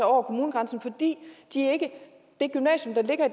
over kommunegrænsen fordi det gymnasium der ligger